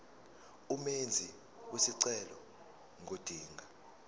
umenzi wesicelo ngodinga